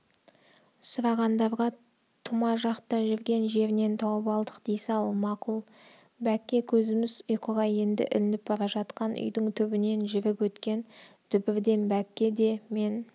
сұрағандарға тұма жақта жүрген жерінен тауып алдық дей сал мақұл бәкке көзіміз ұйқыға енді ілініп бара жатқан үйдің түбінен жүріп өткен дүбірден бәкке де мен